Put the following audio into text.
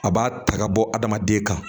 A b'a ta ka bɔ adamaden kan